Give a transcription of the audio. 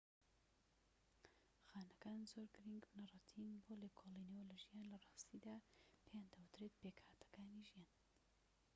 خانەکان زۆر گرنگ بنەڕەتین بۆ لێکۆڵینەوە لە ژیان لە راستیدا پێیان دەوترێت پێکهاتەکانی ژیان